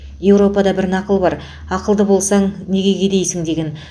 еуропада бір нақыл бар ақылды болсаң неге кедейсің деген